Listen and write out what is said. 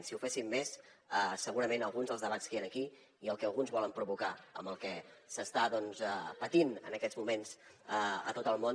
si ho féssim més segurament alguns dels debats que hi han aquí i el que alguns volen provocar amb el que s’està patint en aquests moments a tot el món